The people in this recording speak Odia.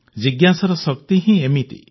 ଜିଜ୍ଞାସାର ଶକ୍ତି ହିଁ ଏମିତି